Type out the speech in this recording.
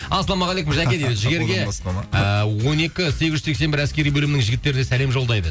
ассалаумағалейкум жәке дейді жігерге ыыы он екі сегіз жүз сексен бір әскери бөлімнің жігіттеріне сәлем жолдайды